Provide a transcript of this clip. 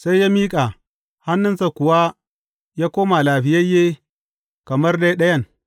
Sai ya miƙa, hannunsa kuwa ya koma lafiyayye, kamar dai ɗayan.